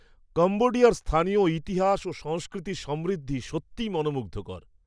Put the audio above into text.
কাম্বোডিয়ার স্থানীয় ইতিহাস ও সংস্কৃতির সমৃদ্ধি সত্যিই মনোমুগ্ধকর!